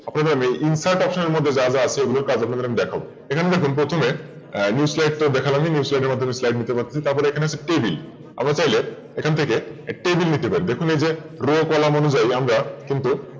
আপনাদের Insert option এর মধ্যে যা যা আছে সেগুলো কাজ এবার আমি দেখাবো এখানে দেখুন প্রথমে New slide তো দেখলামই New slide এর মধ্যে Slide নিতে পারছি তারপর এখানে আছে Table আমরা তাহলে এখান থেকে Table নিতে পারি এখান থেকে Row column অনুযায়ী আমরা কিন্তু